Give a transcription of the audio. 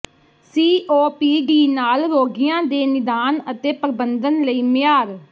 COPD ਨਾਲ ਰੋਗੀਆਂ ਦੇ ਨਿਦਾਨ ਅਤੇ ਪ੍ਰਬੰਧਨ ਲਈ ਮਿਆਰ